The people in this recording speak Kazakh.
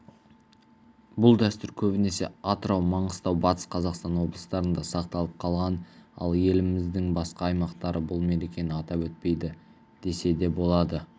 бұл дәстүр көбінесе атырау маңғыстау батыс қазақстан облыстарында сақталып қалған ал еліміздің басқа аймақтары бұл мерекені атап өтпейді десе де болады